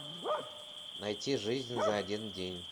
найти жизнь за один день